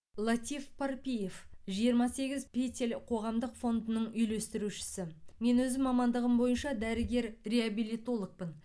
латиф парпиев жиырма сегіз петель қоғамдық фондының үйлестірушісі мен өзім мамандығым бойынша дәрігер реабилитологпын